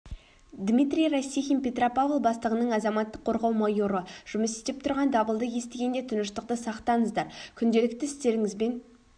дмитрий растихин петропавл бастығының азаматтық қорғау майоры жұмыс істеп тұрған дабылды естігенде тыныштықты сақтаңыздар күнделіккті істеріңізбен